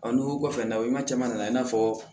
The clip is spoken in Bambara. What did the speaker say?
nugu kɔfɛ na caman nana i n'a fɔ